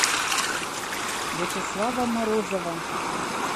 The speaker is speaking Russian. вячеслава морозова